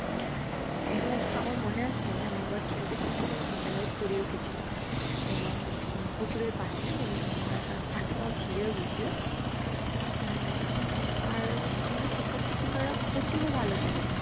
এবং আমার মনে আছে আমি একবার খেলতে খেলতে বিদ্যালয়ে পরেও গেছিলাম এবং আমি পুকুরে পাশে এবং আমার হাত পা ছিঁড়েও গেছিল। আহ উম আর আমাদের শিক্ষক শিক্ষিকারা অতীব ভালো ছিলেন।